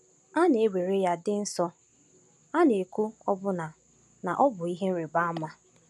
A na-ewere ya dị nsọ, a na-ekwu ọbụna na ọ bụ ihe ịrịba ama.